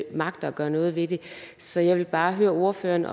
magter at gøre noget ved det så jeg vil bare høre ordføreren